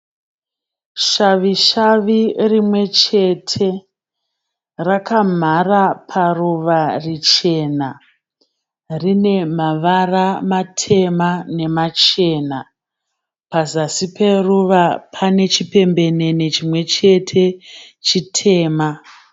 Shavishavi rimwechete, rakamhara paruva richena. Rine mavara matema nemachena. Pazasi peruva pane chipembenene chimwechete chitema.